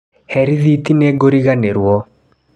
Hee rĩthiti nĩ ngũriganĩro.